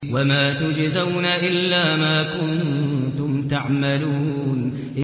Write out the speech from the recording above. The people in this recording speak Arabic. وَمَا تُجْزَوْنَ إِلَّا مَا كُنتُمْ تَعْمَلُونَ